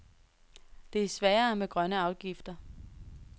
Det er sværere med grønne afgifter.